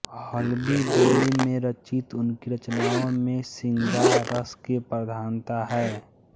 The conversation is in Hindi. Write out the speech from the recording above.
हल्बी बोली में रचित उनकी रचनाओं में श्रृंगार रस की प्रधानता है